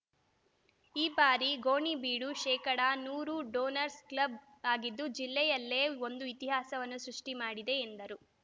ಈ ಬಾರಿ ಗೋಣಿಬೀಡು ಶೇಕಡಾ ನೂರು ಡೋನರ್ಸ್ ಕ್ಲಬ್‌ ಆಗಿದ್ದು ಜಿಲ್ಲೆಯಲ್ಲೆ ಒಂದು ಇತಿಹಾಸವನ್ನು ಸೃಷ್ಟಿಮಾಡಿದೆ ಎಂದರು